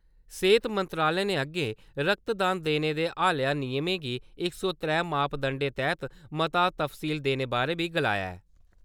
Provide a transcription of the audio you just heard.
सेहत मंत्रालय ने अग्गें रक्तदान देने दे हालया नियमें गी इक सौ त्रै मापदंडे तैहत मता तफसील देने बारै बी गलाया ऐ।